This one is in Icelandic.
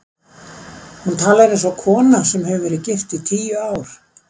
Hún talar eins og kona sem hefur verið gift í tíu ár.